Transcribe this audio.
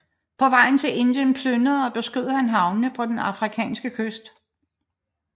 På vejen til Indien plyndrede og beskød han havnene på den afrikanske kyst